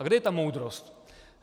A kde je ta moudrost?